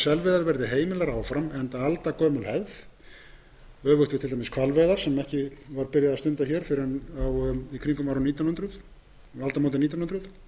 selveiðar verði heimilar áfram enda aldagömul hefð öfugt við til dæmis hvalveiðar sem ekki var byrjað að stunda hér fyrr en í kringum aldamótin nítján hundruð